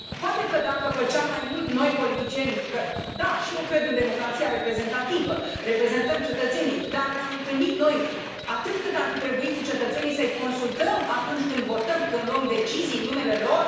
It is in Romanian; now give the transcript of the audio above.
Poate că dacă făceam mai mult noi, politicienii, că da, și eu cred în democrația reprezentativă, reprezentăm cetățenii, dar ne am întâlnit noi atât cât ar fi trebuit cu cetățenii să i consultăm atunci când votăm, când luăm decizii în numele lor?